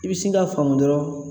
I bi sin k'a faamu dɔrɔn